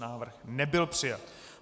Návrh nebyl přijat.